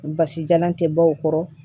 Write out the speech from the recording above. Basi jalan tɛ bɔ o kɔrɔ